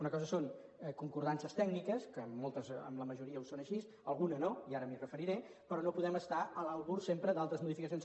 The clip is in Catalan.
una cosa són concordances tècniques que en la majoria ho són així alguna no i ara m’hi referiré però no podem estar a l’albur sempre d’altres modificacions